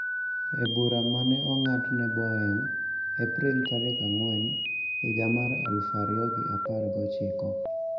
Ebura ma ne ong'adne Boeing, April tarik ang`wen, higa mar aluf ariyo ga apar gochiko